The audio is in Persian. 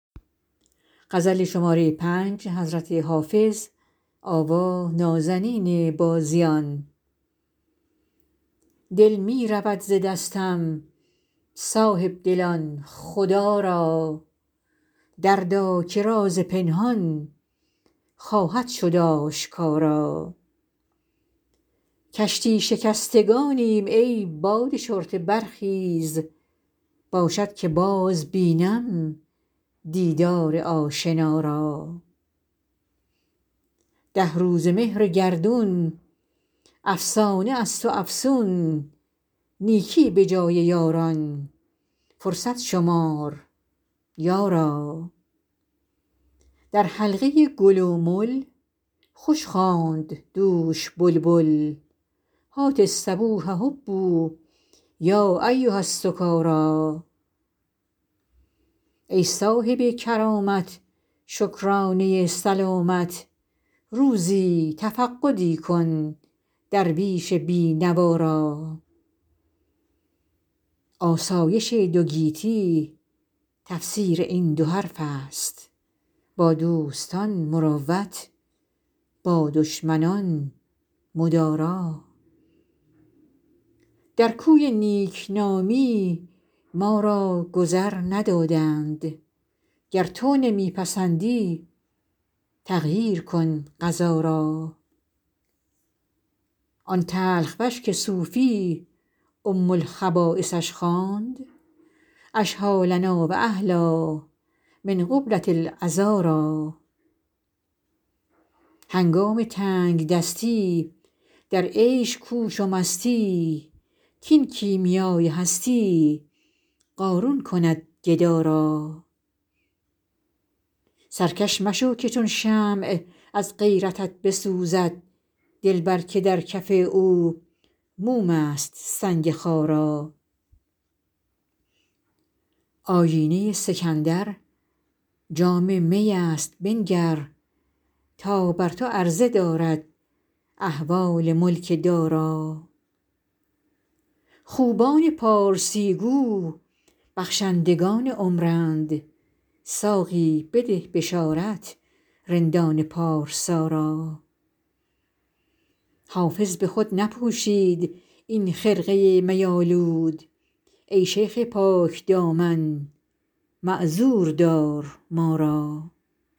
دل می رود ز دستم صاحب دلان خدا را دردا که راز پنهان خواهد شد آشکارا کشتی شکستگانیم ای باد شرطه برخیز باشد که باز بینم دیدار آشنا را ده روزه مهر گردون افسانه است و افسون نیکی به جای یاران فرصت شمار یارا در حلقه گل و مل خوش خواند دوش بلبل هات الصبوح هبوا یا ایها السکارا ای صاحب کرامت شکرانه سلامت روزی تفقدی کن درویش بی نوا را آسایش دو گیتی تفسیر این دو حرف است با دوستان مروت با دشمنان مدارا در کوی نیک نامی ما را گذر ندادند گر تو نمی پسندی تغییر کن قضا را آن تلخ وش که صوفی ام الخبایثش خواند اشهیٰ لنا و احلیٰ من قبلة العذارا هنگام تنگ دستی در عیش کوش و مستی کاین کیمیای هستی قارون کند گدا را سرکش مشو که چون شمع از غیرتت بسوزد دلبر که در کف او موم است سنگ خارا آیینه سکندر جام می است بنگر تا بر تو عرضه دارد احوال ملک دارا خوبان پارسی گو بخشندگان عمرند ساقی بده بشارت رندان پارسا را حافظ به خود نپوشید این خرقه می آلود ای شیخ پاک دامن معذور دار ما را